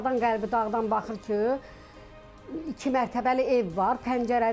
Yuxarıdan qəlbi dağdan baxır ki, iki mərtəbəli ev var.